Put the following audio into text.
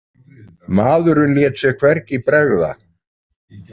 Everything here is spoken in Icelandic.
Maðurinn lét sér hvergi bregða.